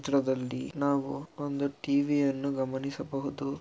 ತ್ರದಲ್ಲಿ ನಾವು ಒಂದು ಟಿ_ವಿ ಯನ್ನು ಗಮನಿಸಬಹುದು.